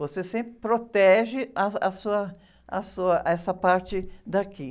Você sempre protege ah, a sua, a sua, essa parte daqui.